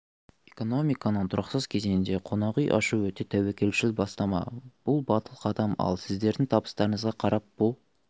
экономиканың тұрақсыз кезеңінде қонақүй ашу өте тәуекелшіл бастама бұл батыл қадам ал сіздердің табыстарыңызға қарап бұл